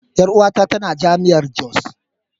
Yar uwata tana jami'ar jos.